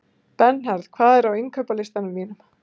Bernharð, hvað er á innkaupalistanum mínum?